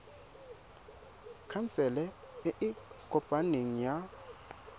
khansele e e kopaneng ya